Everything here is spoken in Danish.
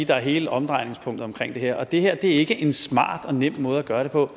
der er hele omdrejningspunktet omkring det her og det her er ikke en smart og nem måde at gøre det på